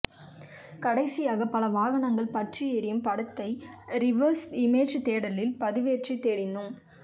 கடைசியாக பல வாகனங்கள் பற்றி எரியும் படத்தை ரிவர்ஸ் இமேஜ் தேடலில் பதிவேற்றித் தேடினோம்